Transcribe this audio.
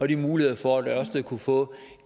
de muligheder for at ørsted kunne få